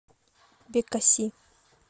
бекаси